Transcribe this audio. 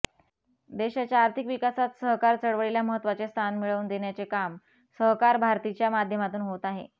देशाच्या आर्थिक विकासात सहकार चळवळीला महत्त्वाचे स्थान मिळवून देण्याचे काम सहकार भारतीच्या माध्यमातून होत आहे